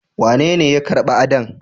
Wanene ya karba Adan?